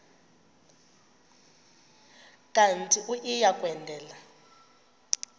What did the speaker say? kanti uia kwendela